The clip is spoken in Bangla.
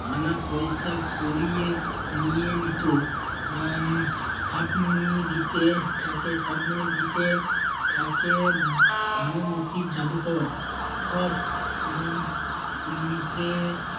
কানা পয়সা কুড়িয়ে নিয়ে নিতো আহ সাপনি দিতে থাকে সাপনি দিতে থাকে ভানুমূতির জাদুকর। ফস মন্ত্রে